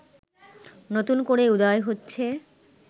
নতুন করে উদয় হচ্ছে